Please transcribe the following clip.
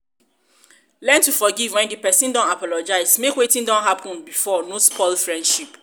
learn to forgive when di person don apologize make wetin don happen before no spoil friendship